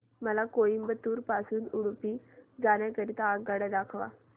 मला कोइंबतूर पासून उडुपी जाण्या करीता आगगाड्या दाखवा